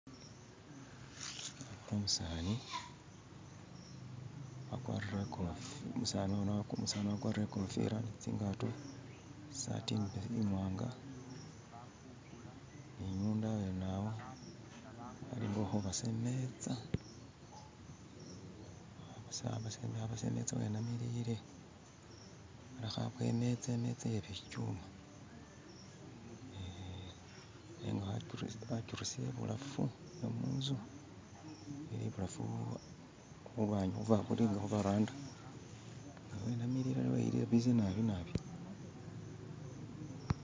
umusani wakwarire ikofila tsingato isati imwanga ni nyondo awene awo alinga uli hubasa imetsa wenamilile aho abowa imetsa iye bibyuma eh nenga akirusile ibulafu wemunzu iburafu hurwanyi hulinga huvaranda nga wenamilile nabi nabi